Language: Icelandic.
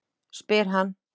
spyr hann.